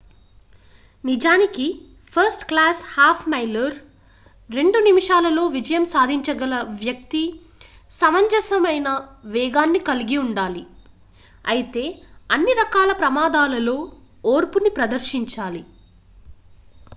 నిజానికి first class half miler రెండు నిమిషాలలో విజయం సాధించగల వ్యక్తి సమంజసమైన వేగాన్ని కలిగి ఉండాలి అయితే అన్ని రకాల ప్రమాదాలలో ఓర్పుని ప్రదర్శించాలి